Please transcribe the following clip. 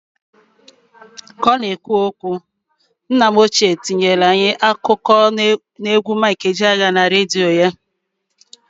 K'ọ ka na ekwu nna m ochie tinyelu anyị akụkọ n'egwu Mik Ejeaya, n'igwe okwu redio ya.